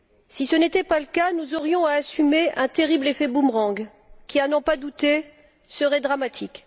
Si ce n'était pas le cas, nous aurions à assumer un terrible effet boomerang qui, à n'en pas douter, serait dramatique.